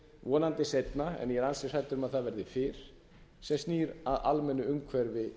vonandi seinna en ég er ansi hræddur um að það verði fyrr sem snýr að almennu umhverfi